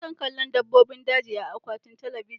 Ina son kallon dabbobin daji a akwain talabijin.